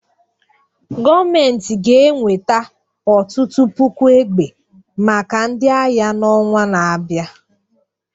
gọọmentị ga-enweta ọtụtụ puku egbe maka ndị agha n'ọnwa na-abịa